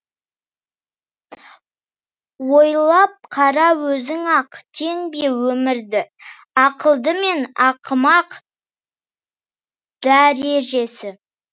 ойлап қара өзің ақ тең бе өмірді ақылды мен ақымақ дәрежесі